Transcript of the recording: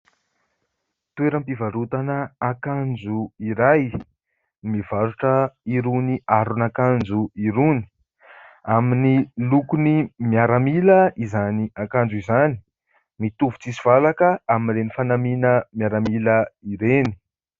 Toeram-pivarotana akanjo iray, mivarotra irony aron'akanjo irony. Amin'ny lokony miaramila izany akanjo izany, mitovy tsisy valaka amin'ireny fanamiana miaramila ireny.